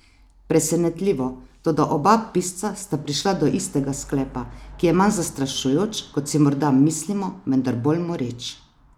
Presenetljivo, toda oba pisca sta prišla do istega sklepa, ki je manj zastrašujoč, kot si morda mislimo, vendar bolj moreč.